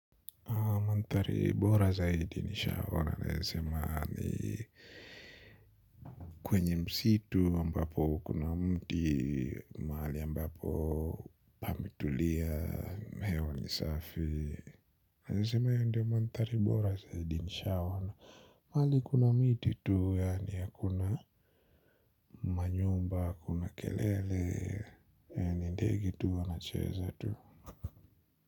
Manthari bora zaidi nilishawahi kuona naweza sema ni kwenye msitu ambapo kuna mti mahali ambapo pametulia, hewa ni safi. Naweza sema hiyo ndiyo manthari bora zaidi nishaona. Mahali kuna miti tu yaani hakuna manyumba, hakuna kelele ya ni ndege tu wanacheza tu.